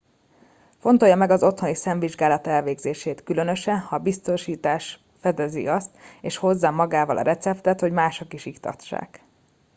fontolja meg az otthoni szemvizsgálat elvégzését különösen ha a biztosítás fedezi azt és hozza magával a receptet hogy máshol is iktassák